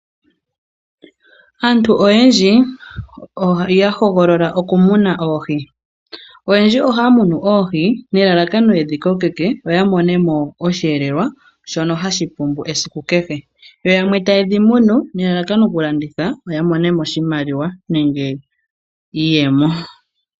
Aantu oyendji oya hogolola okumuna oohi. Oyendji ohaya munu oohi nelalakano yedhi kokeke yo ya mone mo osheelelwa shono hashi pumbu esiku kehe, yo yamwe taye dhi munu nelalakano okulanditha, opo ya mone mo oshimaliwa nenge iiyemo.